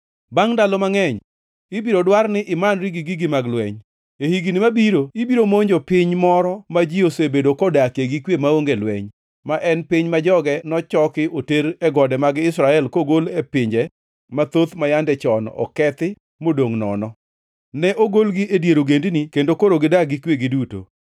Bangʼ ndalo mangʼeny ibiro dwar ni imanri gi gigi mag lweny. E higni mabiro ibiro monjo piny moro ma ji osebedo kodakie gi kwe maonge lweny, ma en piny ma joge nochoki oter e gode mag Israel kogol e pinje mathoth ma yande chon okethi modongʼ nono. Ne ogolgi e dier ogendini kendo koro gidak gi kwe giduto.